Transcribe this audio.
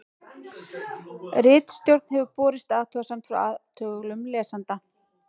ritstjórn hefur borist athugasemd frá athugulum lesanda